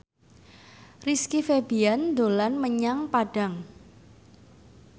Rizky Febian dolan menyang Padang